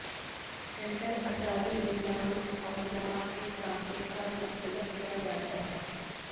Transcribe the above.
centre اعصابی نظام اور دماغ کے کام کے ساتھ منسلک کیا جاتا ہے